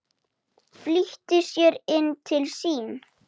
Flýtti sér inn til sín.